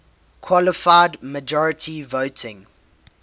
qualified majority voting